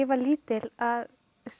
var lítil að